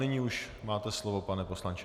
Nyní už máte slovo, pane poslanče.